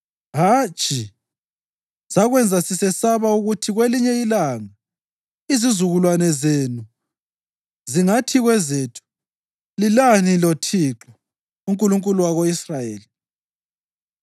Hatshi! Sakwenza sisesaba ukuthi kwelinye ilanga izizukulwane zenu zingathi kwezethu, ‘Lilani loThixo, uNkulunkulu wako-Israyeli?